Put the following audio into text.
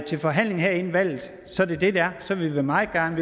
til forhandling her inden valget så er det det det er så vil vi meget gerne